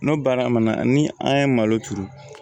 N'o baara mana ni an ye malo turu